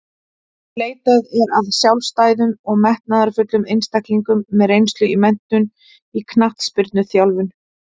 Leitað er að sjálfstæðum og metnaðarfullum einstaklingum með reynslu og menntun í knattspyrnuþjálfun.